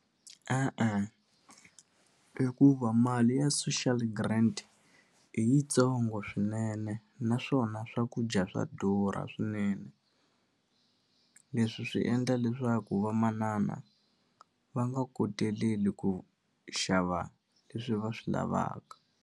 E-e, i ku va mali ya social grant i yitsongo swinene naswona swakudya swa durha swinene leswi swi endla leswaku vamanana va nga koteleli ku xava leswi va swi lavaka.